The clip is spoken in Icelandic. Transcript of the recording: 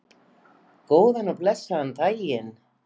Góðan og blessaðan daginn!